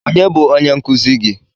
Onye bụ onye nkụzi gi?